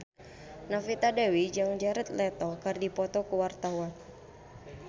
Novita Dewi jeung Jared Leto keur dipoto ku wartawan